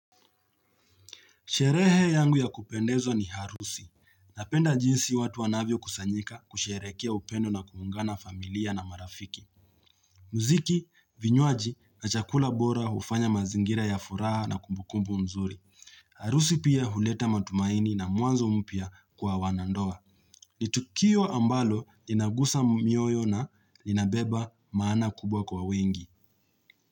Sherehe yangu ya kupendeza ni harusi. Napenda jinsi watu wanavyo kusanyika kusherehekea upendo na kuungana familia na marafiki. Muziki, vinywaji na chakula bora hufanya mazingira ya furaha na kumbukumbu mzuri. Harusi pia huleta matumaini na mwanzo mpya kwa wanandoa. Ni tukio ambalo inagusa mioyo na linabeba maana kubwa kwa wengi.